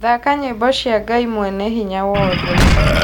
thaaka nyĩmbo cia Ngai Mwene Hinya Wothe